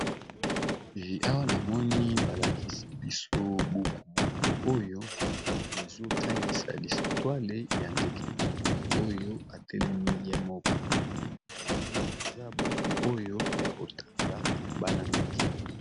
Awa namoni balakisi biso buku, na likolo ya buku yango bakomi bongo eza lisapo ya ndeke